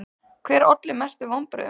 Hver olli mestum vonbrigðum?